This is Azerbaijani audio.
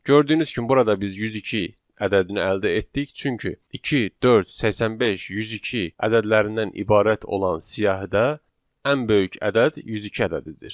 Gördüyünüz kimi burada biz 102 ədədini əldə etdik, çünki 2, 4, 85, 102 ədədlərindən ibarət olan siyahidə ən böyük ədəd 102 ədədidir.